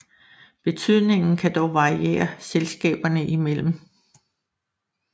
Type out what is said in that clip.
Betydningen kan dog variere selskaberne imellem